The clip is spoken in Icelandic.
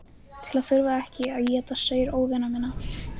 Til að þurfa ekki að éta saur óvina minna.